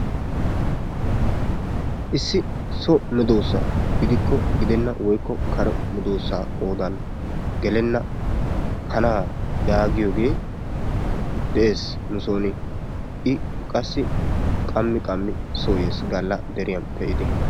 issi so medoosa gidikko gidenna woykko kare medoosa gidenna kanaa yaagiyoge qassi qammi qammi soo yees, gala deriyan pe'idi